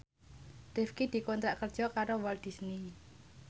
Rifqi dikontrak kerja karo Walt Disney